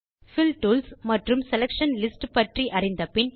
bill tools மற்றும் selection lists பற்றி அறிந்த பின்